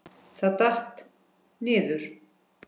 Það datt. niður.